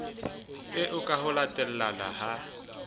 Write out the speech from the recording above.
eo ka ho latellana ha